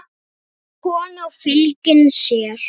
Falleg kona og fylgin sér.